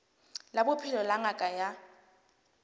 la bophelo la ngaka ya